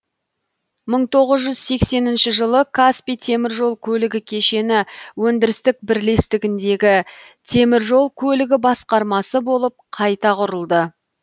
мың тоғыз жүз сексенінші жылы каспий темір жол көлігі кешені өндірістік бірлестігіндегі темір жол көлігі басқармасы болып қайта құрылды